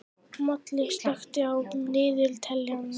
Moli, slökktu á niðurteljaranum.